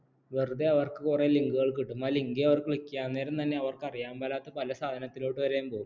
വെറുതെ അവർക്ക് കുറെ link കൾ കിട്ടും ആ link ൽ അവർ click ചെയ്യാൻ നേരം തന്നെ അവർക്ക് അറിയാൻ പാടില്ലാത്ത പല സാധനത്തിലോട്ടും പോകും